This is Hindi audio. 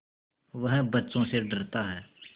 वह बच्चों से डरता है